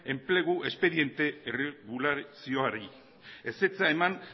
enplegu espediente erregulazioari ezetza eman